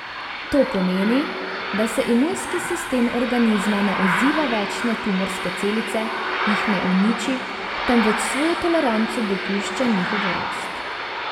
To pomeni, da se imunski sistem organizma ne odziva več na tumorske celice, jih ne uniči, temveč s svojo toleranco dopušča njihovo rast.